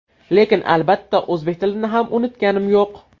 Lekin albatta, o‘zbek tilini ham unutganim yo‘q.